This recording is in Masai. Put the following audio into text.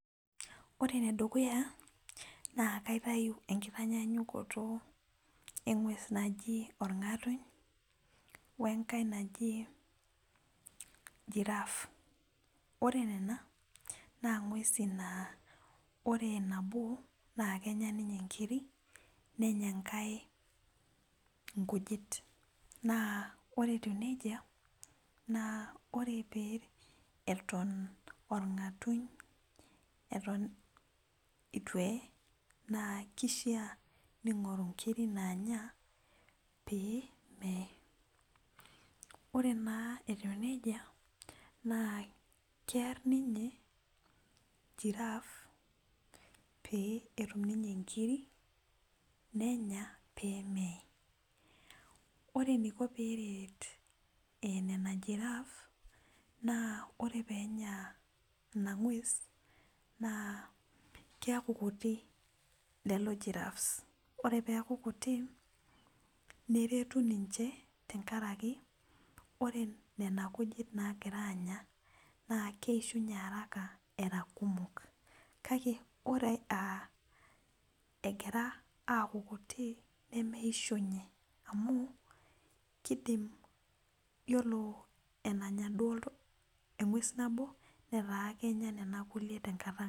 Ore enedukuya na kaitau enkitanyanyukoto engwes naji orngatuny wenkae naji girrafe ore nona na ngwesi na ore nabo na kenya ninye nkirik nenya enkae nkujit na ore etiu nejia ore peeton orngatuny atan ituee na kishaa ningoru nkirik naya pemeee ore na etiu nejia kear ninye girraffe petum inkiriknenya pemeyee, ore eniko peretninye girraffe na ore peaku kutik neretu ninche tenkaraki ore nona kujit nagira aanya na keishunye era kumok kake ore aa egira aaku kutik nemeishunye amu ore enanya engwes nabo na kenya naduo kulie tenkata.